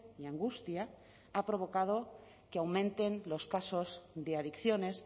y angustia ha provocado que aumenten los casos de adicciones